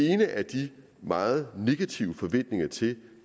ene er de meget negative forventninger til